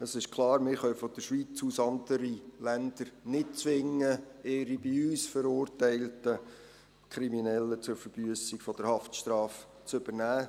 Es ist klar, wir können von der Schweiz aus andere Länder nicht zwingen, ihre bei uns verurteilten Kriminellen zur Verbüssung der Haftstrafe zu übernehmen.